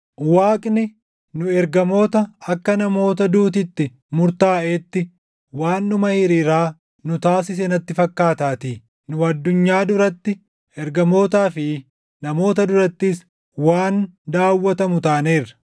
Waaqni, nu ergamoota akka namoota duuti itti murtaaʼeetti waan dhuma hiriiraa nu taasise natti fakkaataatii. Nu addunyaa duratti, ergamootaa fi namoota durattis waan daawwatamu taaneerra.